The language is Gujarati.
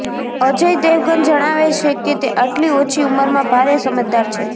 અજય દેવગન જણાવે છે કે તે આટલી ઓછી ઉંમરમાં ભારે સમજદાર છે